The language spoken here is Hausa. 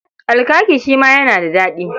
Alkaki shi ma yana da daɗi.